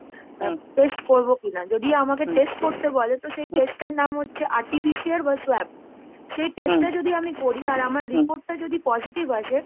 test করবো কিনা যদিও আমাকে test করতে বলে তো সেই test টার নাম হচ্ছে RTPCR বা swab, সেই test টা যদি আমি করি আর আমার report টা যদি positive আসে,